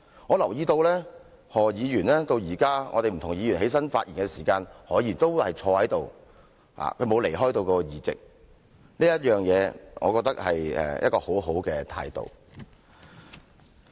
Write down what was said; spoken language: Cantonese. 我留意到何議員直到現在，不同議員站立發言的時候，何議員都坐在這裏，他沒有離開座位，這我覺得是一個很好的態度。